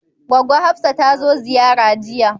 Goggo Hafsat tazo ziyara jiya